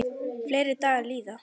Fleiri dagar líða.